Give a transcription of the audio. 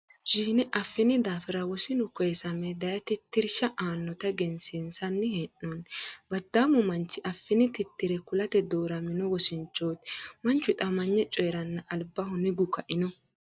Televizhiine affini daafi'ra wosinu ko'isame daye tittirsha aannota egensiinsanni hee'noonni. Baddaamu manchu affini tittire kulate dooramino wosinchooti. Manchu hixamanye coyiranna albaho nigu ka'ino.